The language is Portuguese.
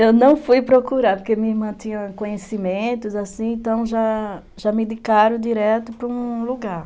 Eu não fui procurar, porque minha irmã tinha conhecimentos, assim, então já já me indicaram direto para um lugar.